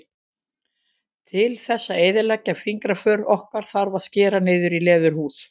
Til þess að eyðileggja fingraför okkar þarf að skera niður í leðurhúð.